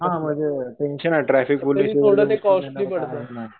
हा म्हणजे टेंशन नाही ट्राफिक पोलीस